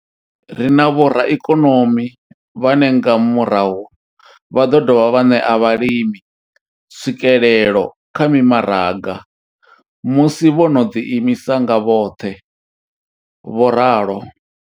Ri na vhoraikonomi vhane nga murahu vha ḓo dovha vha ṋea vhalimi tswikelelo kha mimaraga musi vho no ḓi imisa nga vhoṱhe, vho ralo.